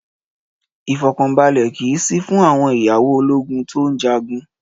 Ìfọkànbalẹ̀ kì í sí fún àwọn ìyàwó ológun tó ń jagun.